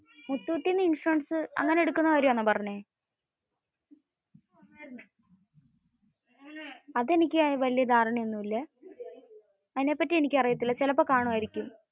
മുത്തൂറ്റിന്ന് insurance, അങ്ങനെ എടുക്കുന്ന കാര്യം ആണോ പറഞ്ഞെ? അത് എനിക്ക് വലിയ ധാരണ ഒന്നുമില്ല. അതിനെ പറ്റി എനിക്ക് അറിയത്തില്ല. ചിലപ്പോ കാണുവായിരിക്കും.